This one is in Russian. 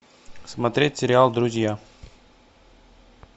смотреть сериал друзья